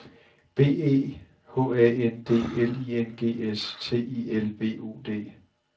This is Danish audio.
B E H A N D L I N G S T I L B U D